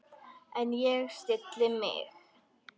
En ég stilli mig.